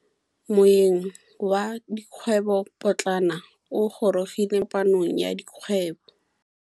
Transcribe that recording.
Moêng wa dikgwêbô pôtlana o gorogile maabane kwa kopanong ya dikgwêbô.